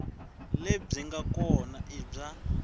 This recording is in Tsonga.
lebyi nga kona i bya